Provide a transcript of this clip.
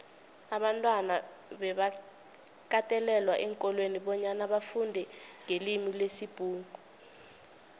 abantwana bebakatelelwa eenkolweni bonyana bafundenqelimilesibhuxu